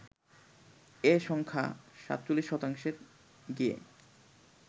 এ সংখ্যা ৪৭ শতাংশে গিয়ে